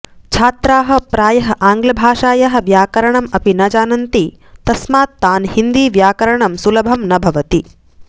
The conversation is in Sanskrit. छात्राः प्रायः आङ्ग्लभाषायाः व्याकरणम् अपि न जानन्ति तस्मात् तान् हिन्दीव्याकरणं सुलभं न भवति